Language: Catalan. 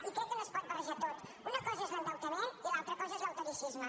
i crec que no es pot barrejar tot una cosa és l’endeutament i l’altra cosa és l’austericisme